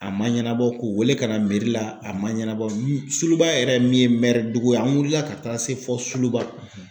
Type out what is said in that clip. A man ɲɛnabɔ k'u wele ka na a man ɲanabɔ Suluba yɛrɛ min ye dugu ye an wulila ka taga se fo Suluba.